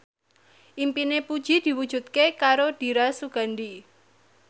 impine Puji diwujudke karo Dira Sugandi